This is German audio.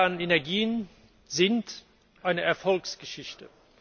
Die erneuerbaren Energien sind eine Erfolgsgeschichte.